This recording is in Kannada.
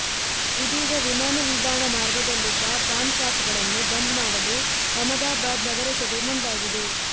ಇದೀಗ ವಿಮಾನ ನಿಲ್ದಾಣ ಮಾರ್ಗದಲ್ಲಿದ್ದ ಪಾನ್ ಶಾಪ್ ಗಳನ್ನು ಬಂದ್ ಮಾಡಲು ಅಹಮದಾಬಾದ್ ನಗರಸಭೆ ಮುಂದಾಗಿದೆ